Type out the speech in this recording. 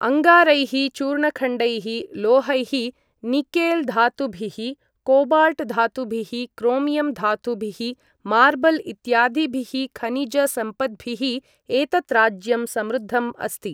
अङ्गारैः, चूर्णखण्डैः, लोहैः, निकेल् धातुभिः, कोबाल्ट् धातुभिः, क्रोमियम् धातुभिः, मार्बल् इत्यादिभिः खनिजसम्पद्भिः एतत् राज्यं समृद्धम् अस्ति।